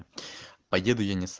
поеду